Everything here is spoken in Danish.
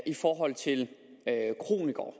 i forhold til kronikere